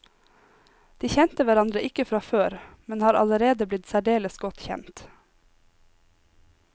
De kjente hverandre ikke fra før, men har allerede blitt særdeles godt kjent.